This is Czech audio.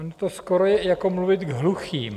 Ono to skoro je jako mluvit k hluchým.